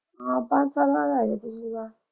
ਹਾਂ ਪੰਜ ਸਾਲਾਂ ਬਾਅਦ ਆਏ ਪਿਛਲੀ ਵਾਰ।